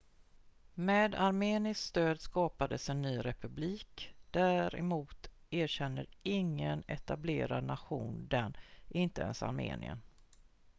med armeniskt stöd skapades en ny republik däremot erkänner ingen etablerad nation den inte ens armenien